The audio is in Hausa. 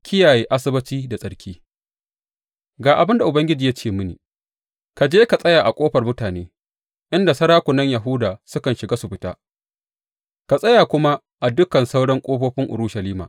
Kiyaye Asabbaci da tsarki Ga abin da Ubangiji ya ce mini, Ka je ka tsaya a ƙofar mutane, inda sarakunan Yahuda sukan shiga su fita; ka tsaya kuma a dukan sauran ƙofofin Urushalima.